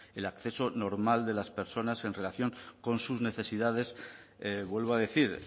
el acceso normal de las personas en relación con sus necesidades vuelvo a decir